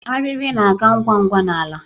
Ariri na-aga ngwa ngwa n'ala.